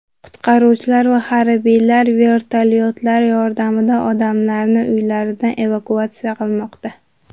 Qutqaruvchilar va harbiylar vertolyotlar yordamida odamlarni uylaridan evakuatsiya qilmoqda.